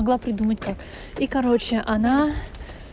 могла придумать так и короче она